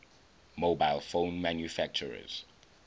mobile phone manufacturers